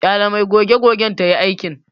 Ƙyale mai goge-gogen tayi aikin.